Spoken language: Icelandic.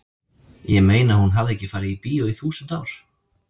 ég meina hún hafði ekki farið í bíó í þúsund ár.